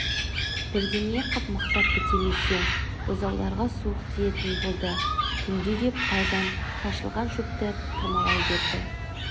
бірдеңе қып мықтап бітемесе бұзауларға суық тиетін болды түнде деп тайжан шашылған шөпті тырмалай берді